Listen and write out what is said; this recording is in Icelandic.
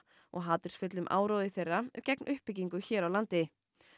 og hatursfullum áróðri þeirra gegn uppbyggingu hér á landi